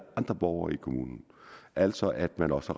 andre borgere i kommunen altså at man også